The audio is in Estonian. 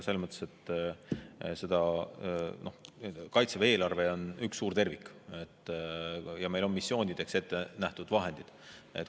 Aga Kaitseväe eelarve on üks suur tervik ja meil on missioonideks ette nähtud vahendid.